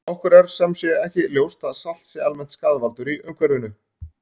Okkur er sem sé ekki ljóst að salt sé almennt skaðvaldur í umhverfinu.